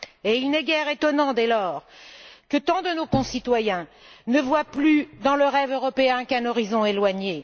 Et il n'est guère étonnant, dès lors, que tant de nos concitoyens ne voient plus dans le rêve européen qu'un horizon éloigné.